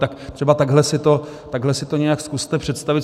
Tak třeba takhle si to nějak zkuste představit.